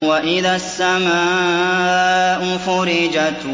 وَإِذَا السَّمَاءُ فُرِجَتْ